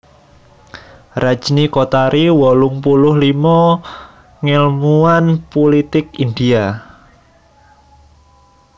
Rajni Kothari wolung puluh limo ngèlmuwan pulitik India